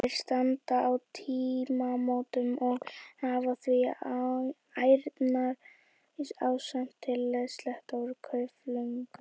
Þeir standa á tímamótum og hafa því ærna ástæðu til að sletta úr klaufunum.